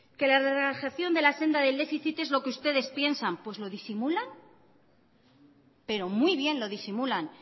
que la relajación de la senda del déficit es lo que ustedes piensan pues lo disimulan pero muy bien lo disimulan